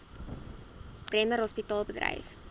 bremer hospitaal bedryf